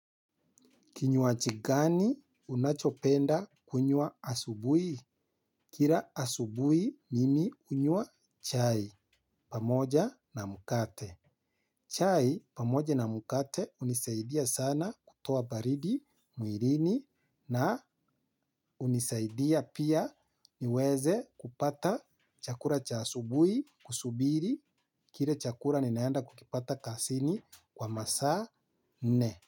Kinywaji gani unachopenda kunywa asubui? Kira asubui mimi unywa chai pamoja na mukate. Chai pamoja na mukate unisaidia sana kutoa baridi muirini na unisaidia pia niweze kupata chakura chasubui kusubiri kire chakura ninaenda kukipata kasini kwa masaa nne.